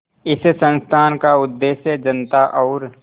इस संस्थान का उद्देश्य जनता और